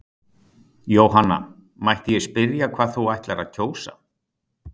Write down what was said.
Jóhanna: Mætti ég spyrja hvað þú ætlar að kjósa?